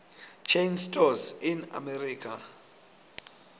chain stores in america